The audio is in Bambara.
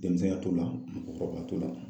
Denmisɛnya t'o la mɔkɔkɔrɔbaya t'o la.